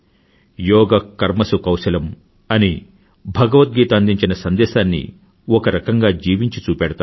యోగ కర్మసు కౌశలం అని భగవద్గీత అందించిన సందేశాన్ని ఒకరకంగా జీవించి చూపెడతారు